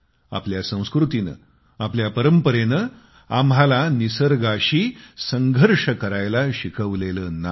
आपल्या संस्कृतीने आपल्या परंपरेने आम्हाला निसर्गाशी संघर्ष करायला शिकवलेले नाही